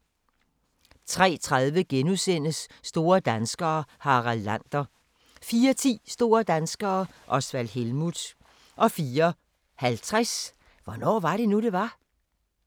03:30: Store danskere - Harald Lander * 04:10: Store danskere - Osvald Helmuth 04:50: Hvornår var det nu, det var?